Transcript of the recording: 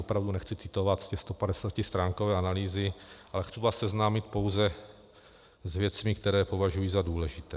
Opravdu nechci citovat z té 150stránkové analýzy, ale chci vás seznámit pouze s věcmi, které považuji za důležité.